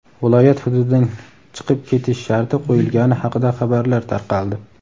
viloyat hududidan chiqib ketish sharti qo‘yilgani haqida xabarlar tarqaldi.